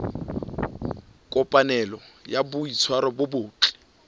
kopanelo ya boitshwaro bo botle